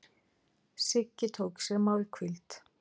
Siggi tók sér málhvíld.